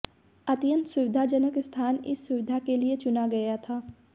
अत्यंत सुविधाजनक स्थान इस सुविधा के लिए चुना गया था